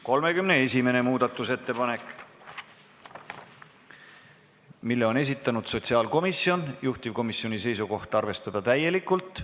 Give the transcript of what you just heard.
31. muudatusettepaneku on esitanud sotsiaalkomisjon, juhtivkomisjoni seisukoht: arvestada seda täielikult.